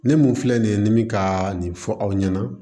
Ne mun filɛ nin ye ni mi kaa nin fɔ aw ɲɛna